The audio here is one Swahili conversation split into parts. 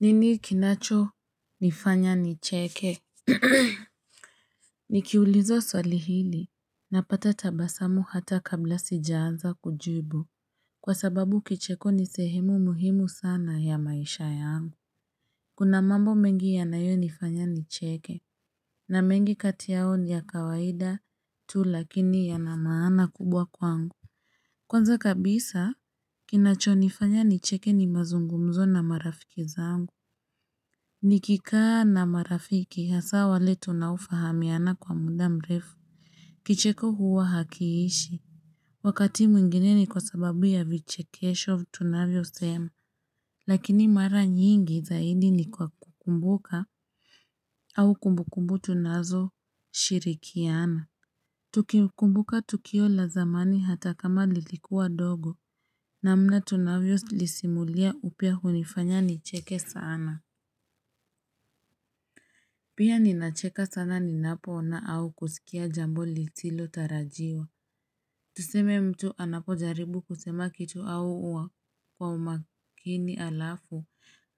Nini kinacho nifanya nicheke? Nikiulizwa swali hili, napata tabasamu hata kabla sijaanza kujibu. Kwa sababu kicheko ni sehemu muhimu sana ya maisha yangu. Kuna mambo mengi yanayo nifanya nicheke, na mengi kati yao ni ya kawaida tu lakini yana maana kubwa kwangu. Kwanza kabisa, kinacho nifanya nicheke ni mazungumzo na marafiki zangu. Niki kaa na marafiki hasa wale tunaofahamiana kwa muda mrefu Kicheko huwa hakiishi. Wakati mwingine ni kwa sababu ya vichekesho tunavyo sema Lakini mara nyingi zaidi ni kwa kukumbuka au kumbukumbu tunazo shirikiana Tukikumbuka tukio la zamani hata kama lilikuwa ndogo namna tunavyo lisimulia upeo hunifanya nicheke sana Pia ninacheka sana ninapo ona au kusikia jambo lisilo tarajiwa Tuseme mtu anapo jaribu kusema kitu au uwa kwa umakini alafu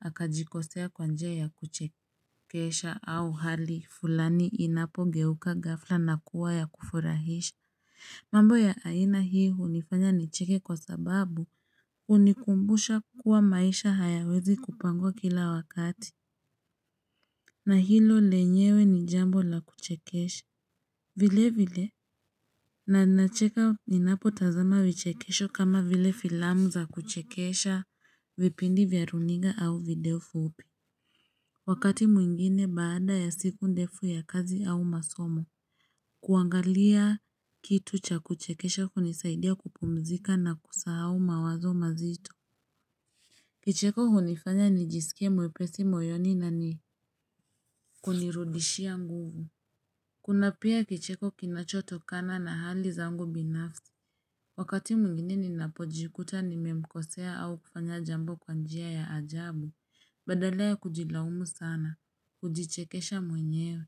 akajikosea kwa njia ya kuchekesha au hali fulani inapo geuka ghafla na kuwa ya kufurahisha mambo ya aina hii hunifanya nicheke kwa sababu hunikumbusha kuwa maisha hayawezi kupangwa kila wakati na hilo lenyewe ni jambo la kuchekesha vile vile na nacheka ni napo tazama vichekesho kama vile filamu za kuchekesha vipindi vya runiga au video fupi Wakati mwingine baada ya siku ndefu ya kazi au masomo kuangalia kitu cha kuchekesha kunisaidia kupumzika na kusahau mawazo mazito Kicheko hunifanya nijisikie mwepesi moyoni na ni kunirudishia nguvu Kuna pia kicheko kinacho tokana na hali zangu binafsi. Wakati mwingine ninapojikuta nimemkosea au kufanya jambo kwa njia ya ajabu. Badala ya kujilaumu sana, hujichekesha mwenyewe.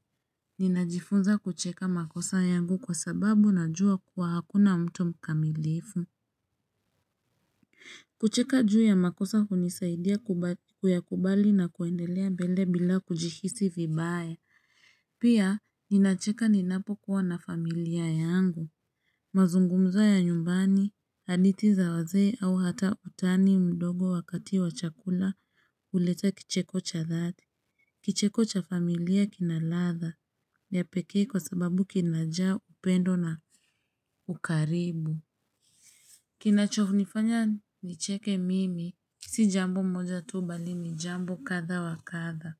Nina jifunza kucheka makosa yangu kwa sababu na jua kuwa hakuna mtu mkamilifu. Kucheka juu ya makosa hunisaidia kuyakubali na kuendelea mbele bila kujihisi vibaya. Pia ninacheka ninapo kuwa na familia yangu, mazungumzo ya nyumbani, hadithi za wazee au hata utani mdogo wakati wa chakula, huleta kicheko cha thati, kicheko cha familia kina ladha, ya pekee kwa sababu kinajaa upendo na ukaribu. Kinacho ni fanya nicheke mimi, si jambo moja tu mbali ni jambo kadha wa kadha,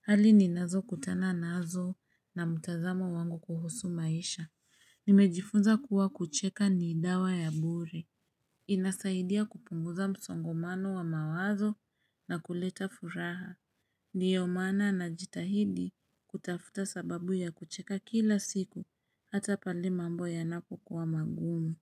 hali ni nazo kutana nazo na mutazamo wangu kuhusu maisha, nimejifunza kuwa kucheka ni idawa ya bure inasaidia kupunguza msongomano wa mawazo na kuleta furaha, ndio maana na jitahidi kutafuta sababu ya kucheka kila siku, hata pale mambo yanapo kuwa magumu.